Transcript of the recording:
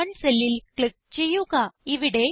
C11 സെല്ലിൽ click ചെയ്യുക